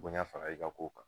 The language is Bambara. Bonya fara i ka kow kan.